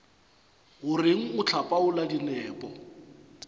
o reng o hlapaola dinepo